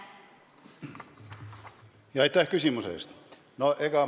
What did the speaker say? Jah, aitäh küsimuse eest!